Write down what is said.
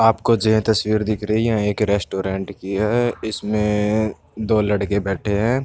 आपको जेह तस्वीर दिख रही है एक रेस्टोरेंट की है इसमें दो लड़के बैठे हैं।